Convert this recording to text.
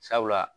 Sabula